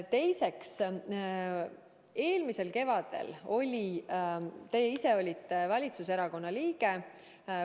Teiseks, eelmisel kevadel olite teie ise valitsuserakonna liige.